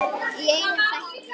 Í einum þætti!